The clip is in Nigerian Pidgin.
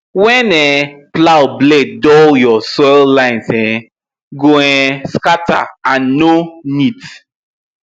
when um plow blade dull your soil lines um go um scatter and no neat